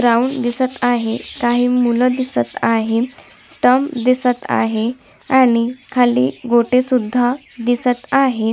Ground दिसत आहे काही मूल दिसत आहे स्टंप दिसत आहे आणि खाली गोटे सुद्धा दिसत आहे.